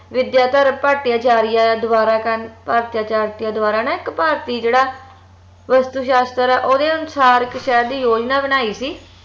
ਵਿਦ੍ਯਾਧਰ ਭਟ੍ਟਾਚਾਰਯ ਦ੍ਵਾਰਾ ਨਾ ਇਕ ਭਾਰਤੀ ਜੇਹੜਾ ਵਸਤੂਸ਼ਾਸ੍ਤਰ ਆ ਓਹਦੇ ਅਨੁਸਾਰ ਇਕ ਸ਼ਹਿਰ ਦੀ ਯੋਜਨਾ ਬਣਾਈ ਸੀ